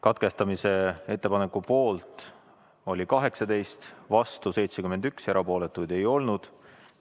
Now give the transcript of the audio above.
Katkestamise ettepaneku poolt oli 18, vastu 71, erapooletuid ei olnud.